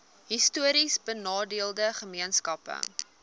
histories benadeelde gemeenskappe